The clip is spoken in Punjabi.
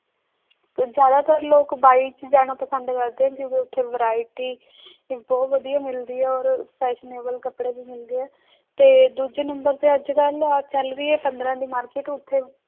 ਤੇ ਜ਼ਿਆਦਾਤਰ ਲੋਕ ਬਾਈ 'ਚ ਜਾਣਾ ਪਸੰਦ ਕਰਦੇ ਨੇ ਕਿਉਂਕਿ ਉੱਥੇ variety ਵੀ ਬਹੁਤ ਵਧੀਆ ਮਿਲਦੀ ਹੈ ਔਰ fashionable ਕੱਪੜੇ ਵੀ ਮਿਲਦੇ ਹੈ ਤੇ ਦੂਜੇ number ਤੇ ਅੱਜ ਕੱਲ੍ਹ ਆਹ ਚੱਲ ਰਹੀ ਹੈ ਪੰਦਰਾਂ ਦੀ market ਉੱਥੇ